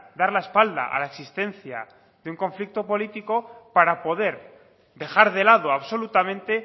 dar la espalda a la existencia de un conflicto político para poder dejar de lado absolutamente